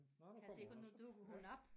Kan jeg se på nu dukker hun op